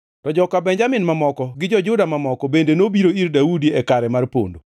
To joka Benjamin mamoko gi jo-Juda mamoko bende nobiro ir Daudi e kare mar pondo.